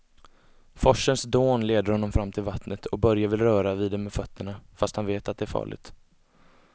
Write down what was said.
Forsens dån leder honom fram till vattnet och Börje vill röra vid det med fötterna, fast han vet att det är farligt.